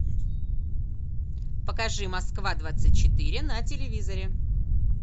покажи москва двадцать четыре на телевизоре